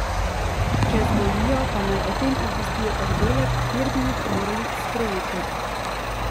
Če zbolijo, pa naj o tem obvestijo oddelek, kjer bi jih morali sprejeti.